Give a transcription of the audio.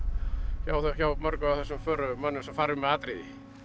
hjá hjá mörgum af þessum förumönnum sem fara um með atriði